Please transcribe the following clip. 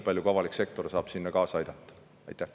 Ja avalik sektor aitab sellele kaasa nii palju, kui saab.